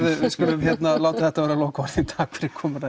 við skulum láta þetta verða lokaorðin takk fyrir komuna